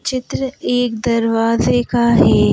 चित्र एक दरवाजे का है।